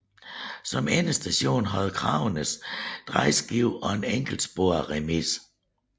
Som endestation havde Kragenæs drejeskive og en enkeltsporet remise